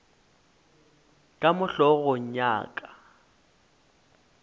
ka mo hlogong ya ka